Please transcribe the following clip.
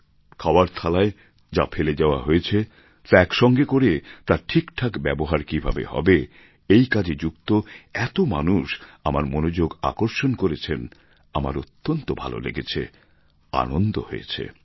খাওয়ার থালায় যা ফেলে যাওয়া হয়েছে তা একসঙ্গে করে তার ঠিকঠাক ব্যবহার কীভাবে হবে এই কাজে যুক্ত এত মানুষ আমার মনোযোগ আকর্ষণ করেছেন আমার অত্যন্ত ভালো লেগেছে আনন্দ হয়েছে